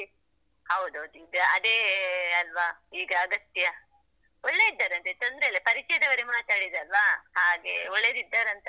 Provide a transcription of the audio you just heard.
ಹೌದೌದು ಅದೇ ಅಲ್ವಾ ಈಗ ಅಗತ್ಯ, ಒಳ್ಳೆ ಇದ್ದಾರಂತೆ ತೊಂದ್ರೆ ಇಲ್ಲ ಪರಿಚಯದವರೆ ಮಾತಾಡಿದ್ದಲ್ವಾ, ಹಾಗೆ ಒಳ್ಳೆದ್ದಿದ್ದಾರಂತ.